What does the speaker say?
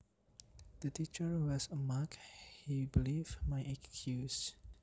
The teacher was a mug he believed my excuse